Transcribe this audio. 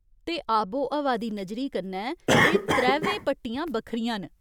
ते आबोब्हा दी नज़री कन्नै एह् त्रैवै पट्टियां बक्खरियां न।